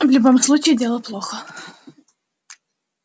в любом случае дело плохо